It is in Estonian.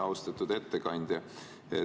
Austatud ettekandja!